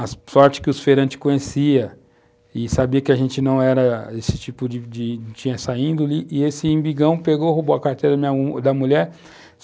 a sorte que os feirantes conheciam e sabiam que a gente não era esse tipo de de, tinha essa índole, e esse Imbigão pegou e roubou a carteira da minha mulher.